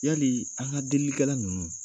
Yalii an ka delilikɛla ninnu